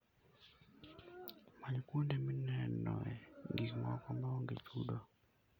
Many kuonde minenoe gik moko maonge chudo.